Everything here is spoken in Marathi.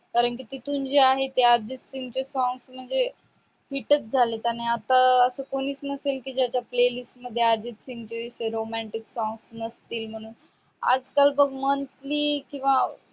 मराठीतून जे आहे ते अर्जित सिंगचे songs म्हणजे hit च झाल. त्यान आता अस कोणीस नसल ज्याच्या play list मध्ये अर्जित सिंगचे romantic songs नसतील म्हणून.